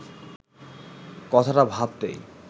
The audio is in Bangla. কথাটা ভাবতেই